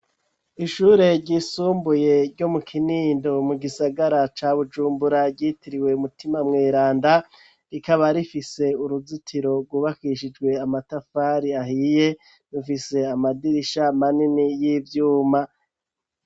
Ishure ryisumbuye ryo mu Kinindo mu gisagara ca Bujumbura, ryitiriwe "Mutima Mweranda, rikaba rifise uruzitiro rwubakishijwe amatafari ahiye, rufise amadirisha manini y'ivyuma.